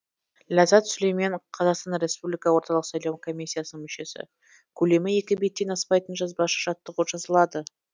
ләззат сүлеймен қазақстан республика орталық сайлау комиссиясының мүшесі көлемі екі беттен аспайтын жазбаша жаттығу жазылады